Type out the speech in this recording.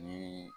Ni